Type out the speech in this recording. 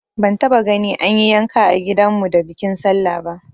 Ban taba gani an yi yanka a gidan mu da bikin sallah ba